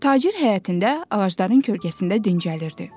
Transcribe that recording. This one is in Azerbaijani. Tacir həyətində ağacların kölgəsində dincəlirdi.